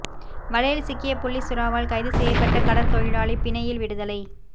வலையில் சிக்கிய புள்ளி சுறாவால் கைது செய்யப்பட்ட கடற்தொழிலாளி பிணையில் விடுதலை